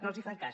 no els fan cas